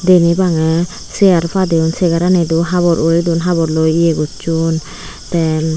ibey maneh seyar padeyon segaranido habor uredon haborloi ye gosson tey.